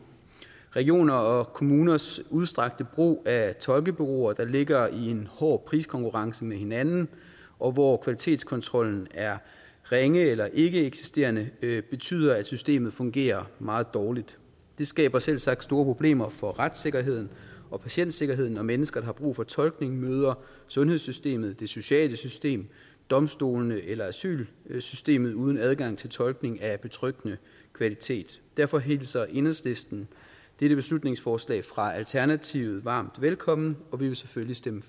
regioners og kommuners udstrakte brug af tolkebureauer der ligger i en hård priskonkurrence med hinanden og hvor kvalitetskontrollen er ringe eller ikkeeksisterende betyder at systemet fungerer meget dårligt det skaber selvsagt store problemer for retssikkerheden og patientsikkerheden når mennesker der har brug for tolkning møder sundhedssystemet det sociale system domstolene eller asylsystemet uden adgang til tolkning af betryggende kvalitet derfor hilser enhedslisten dette beslutningsforslag fra alternativet varmt velkommen og vi vil selvfølgelig stemme